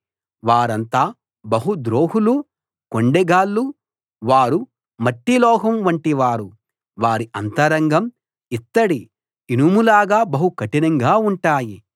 వారంతా బహు ద్రోహులు కొండెగాళ్ళు వారు మట్టి లోహం వంటివారు వారి అంతరంగం ఇత్తడి ఇనుములాగా బహు కఠినంగా ఉంటాయి